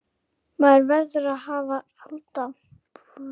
Maður verður að halda fullri einbeitingu allan tímann.